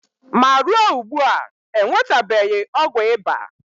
ma ruo ugbua, e nwetabeghị ọgwụ ịba.